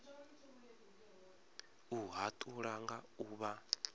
u hatula nga u vha